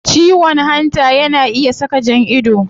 Ciwon hanta yana iya saka jan ido